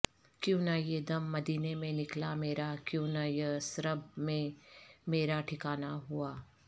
کیوں نہ یہ دم مدینے میں نکلا میرا کیوں نہ یثرب میں میرا ٹھکانہ ہوا